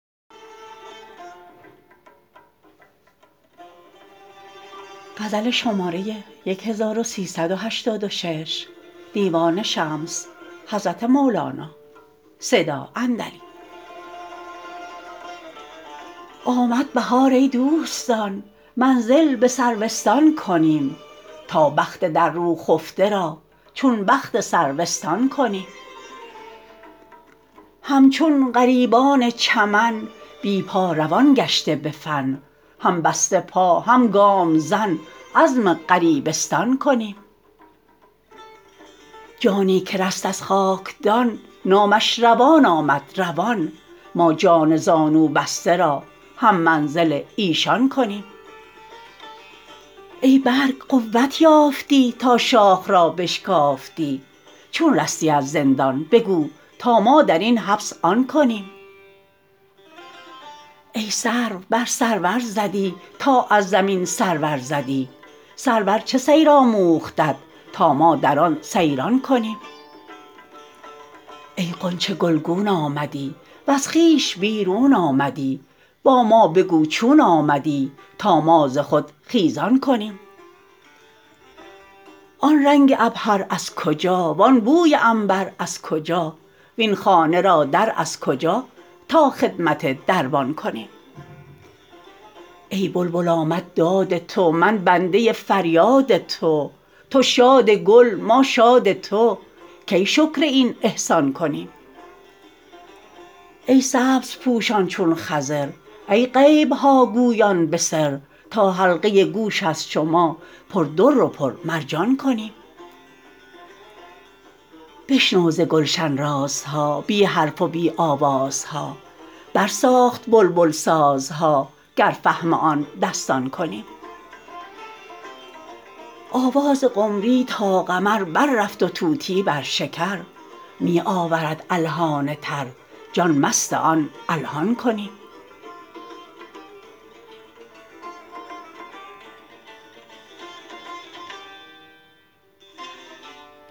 آمد بهار ای دوستان منزل به سروستان کنیم تا بخت در رو خفته را چون بخت سرو استان کنیم همچون غریبان چمن بی پا روان گشته به فن هم بسته پا هم گام زن عزم غریبستان کنیم جانی که رست از خاکدان نامش روان آمد روان ما جان زانوبسته را هم منزل ایشان کنیم ای برگ قوت یافتی تا شاخ را بشکافتی چون رستی از زندان بگو تا ما در این حبس آن کنیم ای سرو بر سرور زدی تا از زمین سر ورزدی سرور چه سیر آموختت تا ما در آن سیران کنیم ای غنچه گلگون آمدی وز خویش بیرون آمدی با ما بگو چون آمدی تا ما ز خود خیزان کنیم آن رنگ عبهر از کجا وان بوی عنبر از کجا وین خانه را در از کجا تا خدمت دربان کنیم ای بلبل آمد داد تو من بنده فریاد تو تو شاد گل ما شاد تو کی شکر این احسان کنیم ای سبزپوشان چون خضر ای غیب ها گویان به سر تا حلقه گوش از شما پر در و پرمرجان کنیم بشنو ز گلشن رازها بی حرف و بی آوازها برساخت بلبل سازها گر فهم آن دستان کنیم آواز قمری تا قمر بررفت و طوطی بر شکر می آورد الحان تر جان مست آن الحان کنیم